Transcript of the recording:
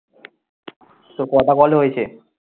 তোর কটা call হয়েছে?